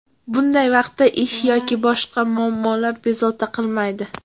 Bunday vaqtda ish yoki boshqa muammolar bezovta qilmaydi.